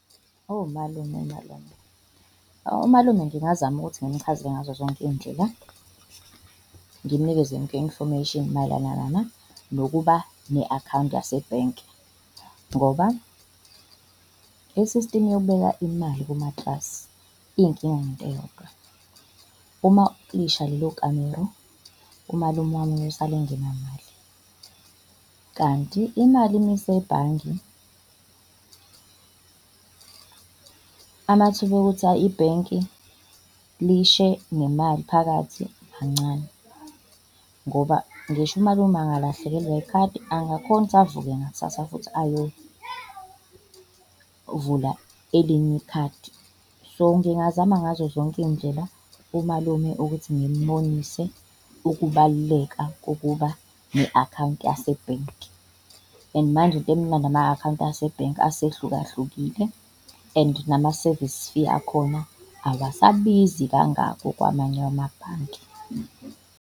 Malume malume, umalume ngingazama ukuthi ngimchazele ngazozonke iy'ndlela, ngimnikeze yonke i-information nokuba ne-akhawunti yasebhenki ngoba i-system yokubeka imali kumatrasi iyinkinga ngento eyodwa, uma lisha lelo kamero umalume wami uyosala engenamali. Kanti imali uma isebhange amathuba okuthi ibhenki lishe nemali phakathi mancane ngoba ngisho umalume angalahlekelwa yikhadi angakhona ukuthi avuke ngakusasa futhi ayovula elinye ikhadi. So ngingazama ngazo zonke iy'ndlela umalume ukuthi ngimbonise ukubaluleka kokuba ne-akhawunti yasebhenki. And manje into emnandi ama-akhawunti asebhenki asehlukahlukile, and nama-service fee akhona awasabizi kangako kwamanye wamabhanki.